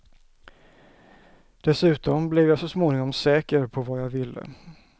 Dessutom blev jag så småningom säker på vad jag ville.